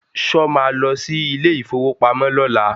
Sọ ma lọ sí ilé ìfowópamọ́ lọ́la?